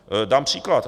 Dám příklad.